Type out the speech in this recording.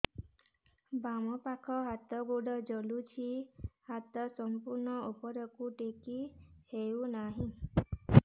ବାମପାଖ ହାତ ଗୋଡ଼ ଜଳୁଛି ହାତ ସଂପୂର୍ଣ୍ଣ ଉପରକୁ ଟେକି ହେଉନାହିଁ